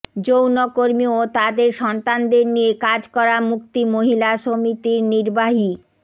যৌনকর্মী ও তাদের সন্তানদের নিয়ে কাজ করা মুক্তি মহিলা সমিতির নির্বাহী